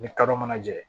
Ni kadɔ ma jɛ